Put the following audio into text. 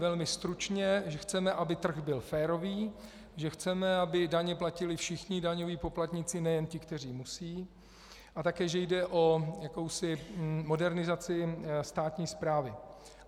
Velmi stručně - že chceme, aby trh byl férový, že chceme, aby daně platili všichni daňoví poplatníci, nejen ti, kteří musí, a také že jde o jakousi modernizaci státní správy.